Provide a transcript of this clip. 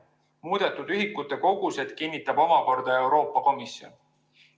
Muudetud ühikute kogused kinnitab omakorda Euroopa Komisjon.